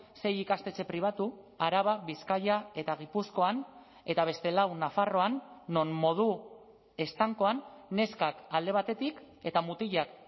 sei ikastetxe pribatu araba bizkaia eta gipuzkoan eta beste lau nafarroan non modu estankoan neskak alde batetik eta mutilak